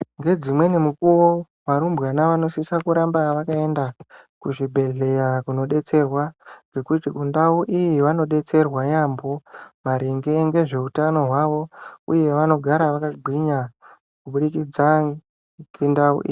Ngedzimweni mikuwo, varumbwana vanosisa kuramba vakaenda kuzvibhedhleya kunodetserwa, ngekuti kundau iyi, vanodetserwa yaampho maringe ngezveutano hwavo, uye vanogara vakagwinya, kubudikidza ngendau.....